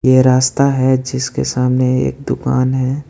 ए रास्ता है जिसके सामने एक दुकान है।